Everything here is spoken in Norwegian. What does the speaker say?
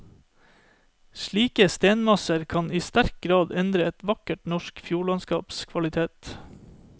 Slike stenmasser kan i sterk grad endre et vakkert norsk fjordlandskaps kvalitet.